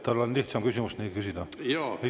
Tal oleks lihtsam küsimust küsida,.